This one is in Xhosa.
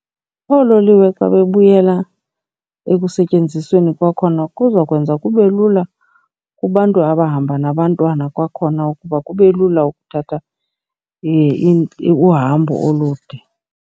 Oololiwe xa bebuyela ekusetyenzisweni kwakhona kuzokwenza kube lula kubantu abahamba nabantwana kwakhona ukuba kube lula ukuthatha uhambo olude.